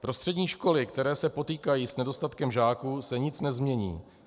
Pro střední školy, které se potýkají s nedostatkem žáků, se nic nezmění.